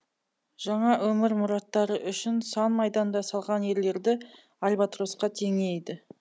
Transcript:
жаңа өмір мұраттары үшін сан майданда салған ерлерді альбатросқа теңейді